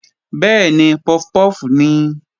Bẹ́ẹ̀ni, puff puff nìí